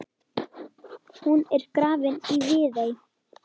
Hann er grafinn í Viðey.